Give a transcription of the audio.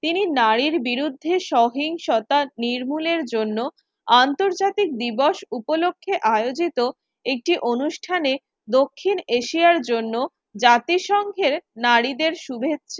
তিনি নারীর বিরুদ্ধে সহিংসতা নির্মূলের জন্য আন্তর্জাতিক দিবস উপলক্ষে আয়োজিত একটি অনুষ্ঠানে দক্ষিণ এশিয়ার জন্য জাতিসংঘের নারীদের শুভেচ্ছা